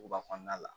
Kuba kɔnɔna la